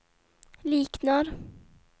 liknar